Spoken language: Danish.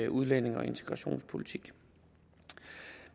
udlændinge og integrationspolitik